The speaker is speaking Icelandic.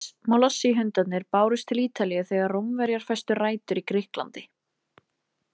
Molossi-hundarnir bárust til Ítalíu þegar Rómverjar festu rætur í Grikklandi.